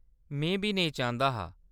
में बी नेईं चांह्‌‌‌दा हा।